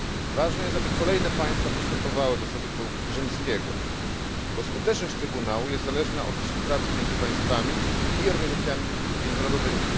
Ważne jest, aby kolejne państwa przystępowały do Statutu Rzymskiego, albowiem skuteczność trybunału jest zależna od współpracy między państwami i organizacjami międzynarodowymi.